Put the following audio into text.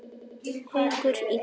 Haukur í golf.